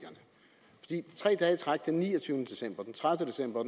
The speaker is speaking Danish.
der tre dage i træk den niogtyvende december den tredive december